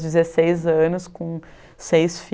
dezesseis anos com seis